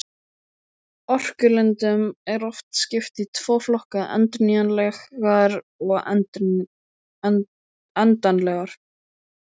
Orkulindum er oft skipt í tvo flokka, endurnýjanlegar og endanlegar.